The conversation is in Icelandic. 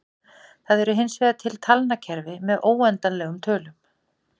Það eru hinsvegar til talnakerfi með óendanlegum tölum.